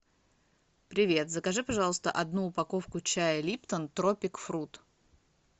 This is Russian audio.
привет закажи пожалуйста одну упаковку чая липтон тропик фрут